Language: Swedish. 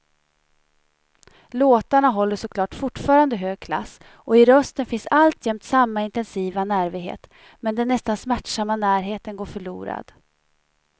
Låtarna håller såklart fortfarande hög klass och i rösten finns alltjämt samma intensiva nervighet, men den nästan smärtsamma närheten går förlorad.